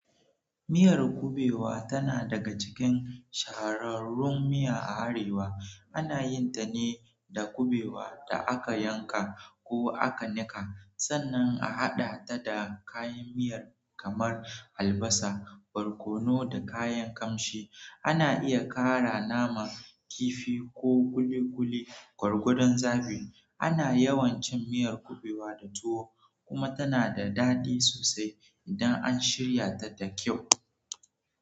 Miyar kuɓewa tana daga cikin shahararrun miya a arewa. Ana yin ta ne da kuɓewan da aka yanka ko aka nika, sannan a haɗa ta da kayan miya kamar albasa, barkono, da kayan kamshi. Ana iya ƙara nama kifi ko ƙuliƙuli gwargwadon zabi. Ana yawan cin miyar kuɓewa da tuwo, kuma tana da daɗi sosai idan an shirya ta da kyau.